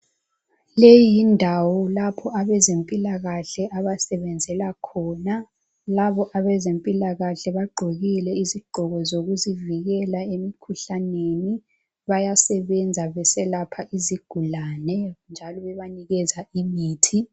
Leyi yindawo lapho abezempilakahle abasebenzela khona, labo abezempilakahle bagqokile izigqoko zokuzivikela emkhuhlaneni bayasebenza beselapha izigulane njalo bebanikeza imithi.